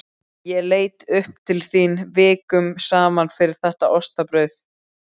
Ég leit upp til þín vikum saman fyrir þetta ostabrauð.